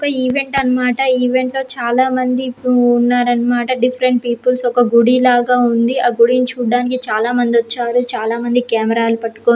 ఒక ఈవెంట్ అన్నమాట ఈవెంట్లో చాల మంది ఉ--ఉన్నారన్నమాట డిఫరెంట్ పీపుల్స్ ఒక గుడి లాగా ఉంది. ఆ గుడిని చూడ్డానికి చాలా మంది ఒచ్చారు చాలా మంది కెమెరా లు పట్టుకొని--